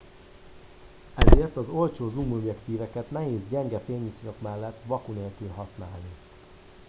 ezért az olcsó zoom objektíveket nehéz gyenge fényviszonyok mellett vaku nélkül használni